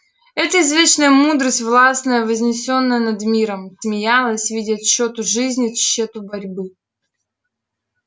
это извечная мудрость властная вознесённая над миром смеялась видя тщету жизни тщету борьбы